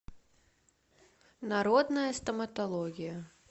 народная стоматология